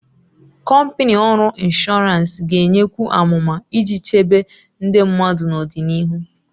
Kọmpanị ọrụ inshọransị ga-enyekwu amụma iji chebe ndị mmadụ n'ọdịnihu.